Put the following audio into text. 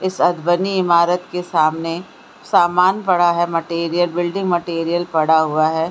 इस अध बनी ईमारत के सामने सामान पड़ा है मटेरियल बिल्डिंग मटेरियल पड़ा हुआ है।